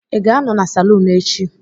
Ị ga-anọ na salon echi?